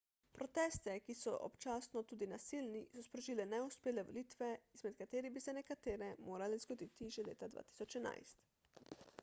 proteste ki so občasno tudi nasilni so sprožile neuspele volitve izmed katerih bi se nekatere morale zgoditi že leta 2011